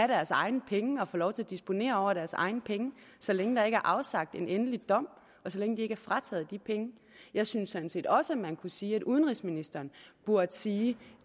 deres egne penge og have lov til at disponere over deres egne penge så længe der ikke er afsagt en endelig dom og så længe de ikke er frataget de penge jeg synes sådan set også at man kunne sige at udenrigsministeren burde sige